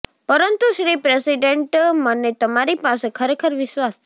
પરંતુ શ્રી પ્રેસિડેન્ટ મને તમારી પાસે ખરેખર વિશ્વાસ છે